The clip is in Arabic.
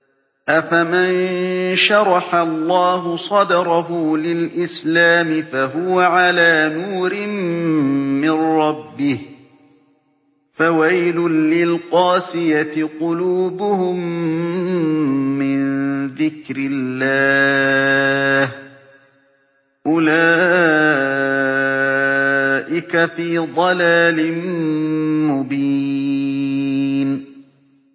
أَفَمَن شَرَحَ اللَّهُ صَدْرَهُ لِلْإِسْلَامِ فَهُوَ عَلَىٰ نُورٍ مِّن رَّبِّهِ ۚ فَوَيْلٌ لِّلْقَاسِيَةِ قُلُوبُهُم مِّن ذِكْرِ اللَّهِ ۚ أُولَٰئِكَ فِي ضَلَالٍ مُّبِينٍ